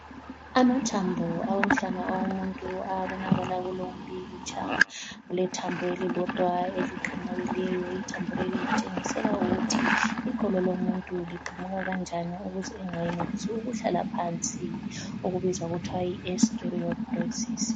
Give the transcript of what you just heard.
Amathambo awomhlane awomuntu ayabonakala kulo umpikitsha. Kulethambo elilodwa eliqamukileyo ithambo leli litshengisela ukuthi iqolo lomuntu liqamuka kanjani ukuze engayenelisi ukuhlala phansi okubizwa kuthwa yiOstereoporosis.